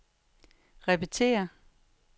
repetér